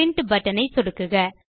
print button ஐ சொடுக்குக